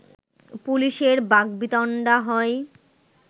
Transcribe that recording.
পুলিশের বাকবিতণ্ডা হয়